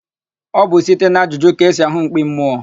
Ọ bụ site n'ajụjụ ka esi àhụ́ mkpi mmụọ.